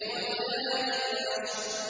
وَلَيَالٍ عَشْرٍ